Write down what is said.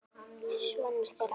Sonur þeirra var